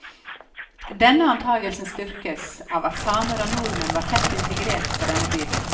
Denne antagelsen styrkes av at samer og nordmenn var tett integrert på denne tiden.